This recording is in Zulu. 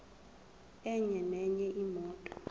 enye nenye imoto